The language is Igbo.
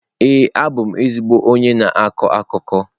Ee, abụ m ezigbo onye na-akọ akụkọ.